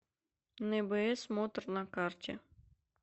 нбсмотор на карте